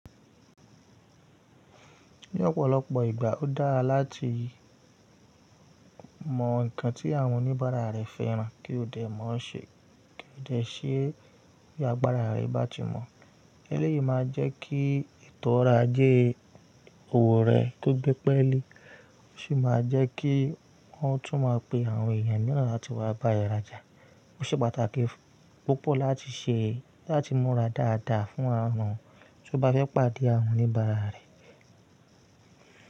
Ní ọ̀pọ̀lọpọ̀ ìgbà, ó dára láti mọ nǹkan tí àwọn oníbàárà rẹ fẹ́ran kí o dẹ̀ mọ̀ n ṣe kí o dẹ̀ ṣe bí agbára rẹ bá ti mọ̀. Élèyìí máa jẹ́ kí eto oro aje owo rẹ ki o gbẹ́pẹ́lé, ó sì máa jẹ́ kí wọ́n tún máa pe àwọn èèyàn mìíràn láti wá bá ẹ rajà. Ó ṣe pàtàkì púpọ̀ láti ṣe láti múra dáadáa fún àwọn tí o bá fẹ́ pàdé àwọn oníbàárà rẹ.